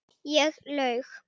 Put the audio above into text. Ég laug.